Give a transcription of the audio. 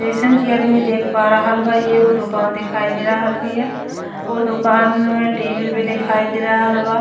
जइसन की आदमी देख पा रहल बा एगो दोकान दिखाई दे रहल बिया ओ दोकान में टीवी भी दिखाई दे रहल बा।